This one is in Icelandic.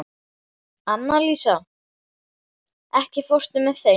Annalísa, ekki fórstu með þeim?